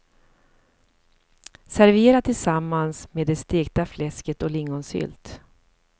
Servera tillsammans med det stekta fläsket och lingonsylt.